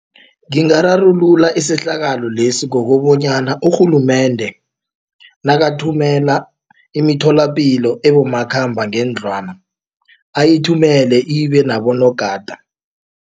Ngingararulula isehlakalo lesi ngokobonyana urhulumende nakathumela imitholapilo ebomakhamba ngendlwana ayithumele ibe nabonogada.